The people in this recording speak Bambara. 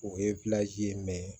O ye ye